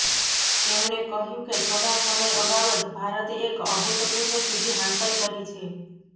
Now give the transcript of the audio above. તેમણે કહ્યું કે થોડા સમય અગાઉ જ ભારતે એક અભૂતપૂર્વ સિદ્ધિ હાંસલ કરી છે